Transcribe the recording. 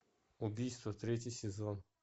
убийство третий сезон